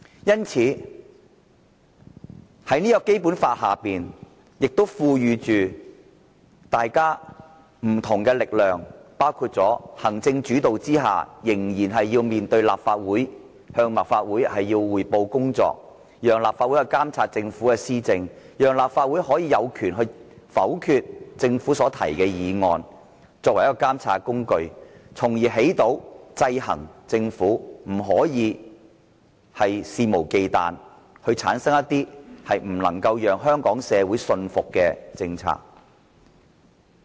因此，《基本法》亦賦予大家不同的力量，包括在行政主導下仍然要面對立法會，向立法會匯報工作，讓立法會監察政府的施政，讓立法會有權否決政府提出的議案，作為監察工具，起着制衡政府的效果，令它不可肆無忌憚，推出不能讓香港社會信服的政策。